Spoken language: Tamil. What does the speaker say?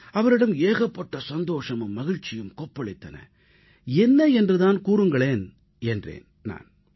அவரிடம் ஏகப்பட்ட சந்தோஷமும் மகிழ்ச்சியும் கொப்பளித்தன என்ன நடந்தது என்பதை சொல்லுங்கள் என்றேன் நான்